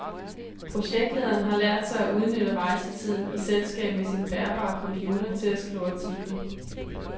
Projektlederen har lært sig at udnytte rejsetiden i selskab med sin bærbare computer til at skrive artikler.